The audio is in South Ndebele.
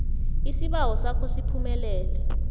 isibawo sakho siphumelele